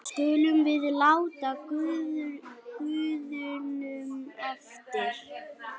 skulum við láta guðunum eftir.